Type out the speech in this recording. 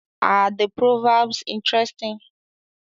Are the proverbs interesting?